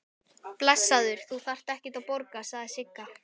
Blessaður, þú þarft ekkert að borga, sagði Sigga.